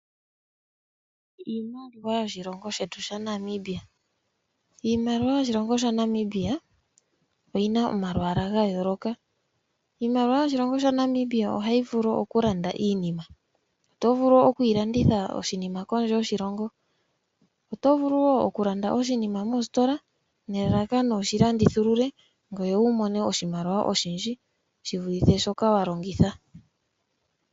Iimaliwa yoshilongo shetu sha Namibia . Iimaliwa yoshilongo shaNamibia oyina omalwaala ga yooloka . Iimaliwa yoshilongo sha Namibia ohayi vulu okulanda iinima. Otovulu oku kondje yiilongo nelalakano wushi landuthilule ngoye wumone oshimaliwa oshindji shivule shoka wa longitha.